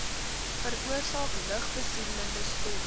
veroorsaak lugbesoedelende stowwe